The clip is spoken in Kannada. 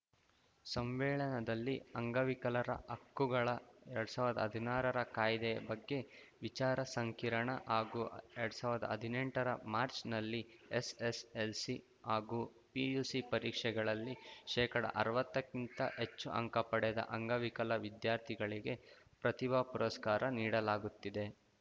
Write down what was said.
ಸಮ್ಮೇಳನದಲ್ಲಿ ಅಂಗವಿಕಲರ ಹಕ್ಕುಗಳ ಎರಡ್ ಸಾವಿರ್ದಾ ಹದ್ನಾರರ ಕಾಯ್ದೆ ಬಗ್ಗೆ ವಿಚಾರ ಸಂಕಿರಣ ಹಾಗೂ ಎರಡ್ ಸಾವಿರ್ದಾ ಹದಿನೆಂಟರ ಮಾರ್ಚ್ ನಲ್ಲಿ ಎಸ್‌ಎಸ್‌ಎಲ್‌ಸಿ ಹಾಗೂ ಪಿಯುಸಿ ಪರೀಕ್ಷೆಗಳಲ್ಲಿ ಶೇಕಡಅರ್ವತ್ತಕ್ಕಿಂತ ಹೆಚ್ಚು ಅಂಕ ಪಡೆದ ಅಂಗವಿಕಲ ವಿದ್ಯಾರ್ಥಿಗಳಿಗೆ ಪ್ರತಿಭಾ ಪುರಸ್ಕಾರ ನೀಡಲಾಗುತ್ತಿದೆ